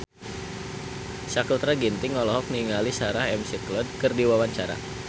Sakutra Ginting olohok ningali Sarah McLeod keur diwawancara